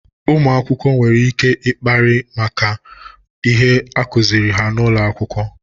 ụmụakwụkwọ nwere ike kparịa maka ihe akuziri ha n'ụlọ akwụkwọ.